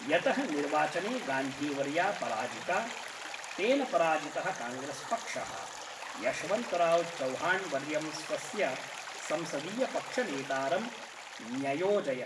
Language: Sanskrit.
यतः निर्वाचने गान्धीवर्या पराजिता, तेन पराजितः काङ्ग्रेस्पक्षः यशवन्तराव् चव्हाण्वर्यं स्वस्य संसदीयपक्षनेतारम् न्ययोजयत्।